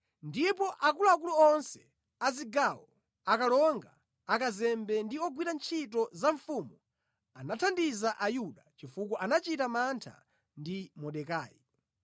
Ndipo akuluakulu onse a zigawo, akalonga, akazembe ndi ogwira ntchito za mfumu anathandiza Ayuda, chifukwa anachita mantha ndi Mordekai.